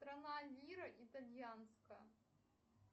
страна лира итальянская